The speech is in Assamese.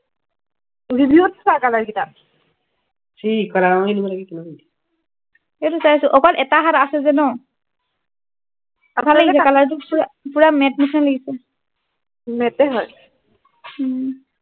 review চা color গিতা এইটো চায়ছো অকল এটা হাত আছে যে ন color টো পুৰা matte নিচিনা লাগিছে matte হয় উম